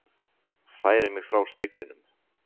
Færi mig frá speglinum.